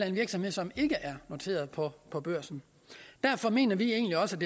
en virksomhed som ikke er noteret på på børsen derfor mener vi egentlig også